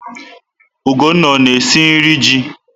Ugonna ọ na-esi nri ji?